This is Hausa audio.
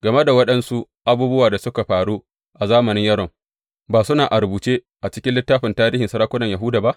Game da waɗansu abubuwan da suka faru a zamanin Yoram, ba suna a rubuce a cikin littafin tarihin sarakunan Yahuda ba?